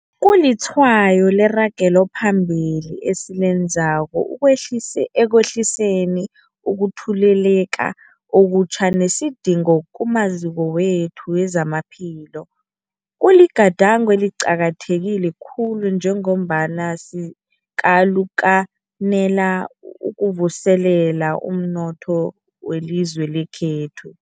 Kulitshwayo leragelo phambili esilenzako ekwehliseni ukutheleleka okutjha nesidingo kumaziko wethu wezamaphilo. Kuligadango eliqakatheke khulu njengombana sikalukanela ukuvuselela umnotho welizwe lekhethu.